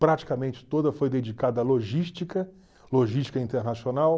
Praticamente toda foi dedicada à logística, logística internacional.